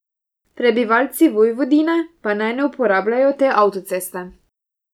Prebivalci Vojvodine pa naj ne uporabljajo te avtoceste.